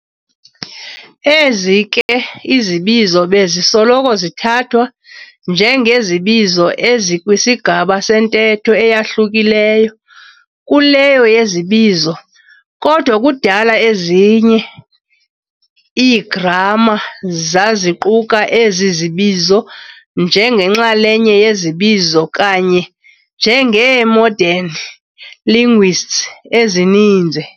Ezi ke izibizo bezisoloko zithathwa njengezibizo ezikwisigaba sentetho eyahlukileyo kuleyo yezibizo, kodwa kudala ezinye ezinye ii-gramma zaziquka ezi zibizo njengenxalenye yezibizo kanye njengee-modern linguists ezininzi.